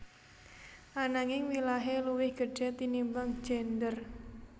Ananging wilahé luwih gedhé tinimbang gendèr